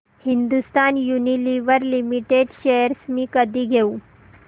Hindustan Unilever limited shares मी कधी घेऊ